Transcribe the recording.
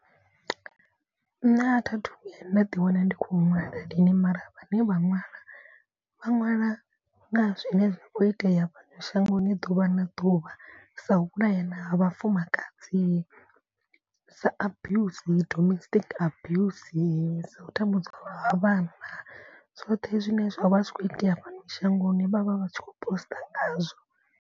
Nṋe a thi thu vhuya nda ḓi wana ndi khou ṅwala lini mara vha ne vha ṅwala vha ṅwala nga zwine zwa kho itea fhano shangoni ḓuvha na ḓuvha. Sa u vhulayana ha vhafumakadzi sa abuse domestic abuse. U tambudzwa ha vhana zwoṱhe zwine zwavha zwi kho itea fhano shangoni vhavha vhatshi kho poster ngazwo.